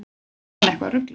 Var hann eitthvað ruglaður?